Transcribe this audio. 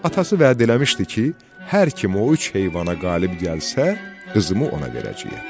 Atası vəd eləmişdi ki, hər kim o üç heyvana qalib gəlsə, qızımı ona verəcəyəm.